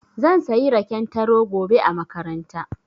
Zan sayi raken taro gobe a makaranta.